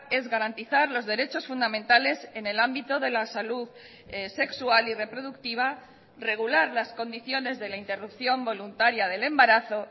es garantizar los derechos fundamentales en el ámbito de la salud sexual y reproductiva regular las condiciones de la interrupción voluntaria del embarazo